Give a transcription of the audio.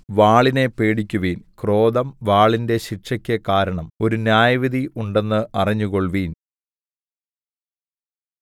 വാളിനെ പേടിക്കുവിൻ ക്രോധം വാളിന്റെ ശിക്ഷയ്ക്ക് കാരണം ഒരു ന്യായവിധി ഉണ്ടെന്ന് അറിഞ്ഞുകൊള്ളുവിൻ